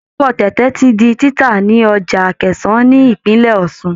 Ẹ̀fọ́ tẹ̀tẹ̀ ti di títà ní Ọjà Akẹ̀sán ni ìpínlẹ̀ Ọ̀ṣun.